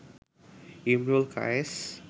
Imrul Kayes